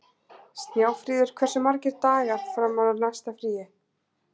Snjáfríður, hversu margir dagar fram að næsta fríi?